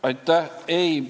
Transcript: Aitäh!